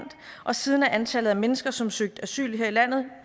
og siden er antallet af mennesker som har søgt asyl her i landet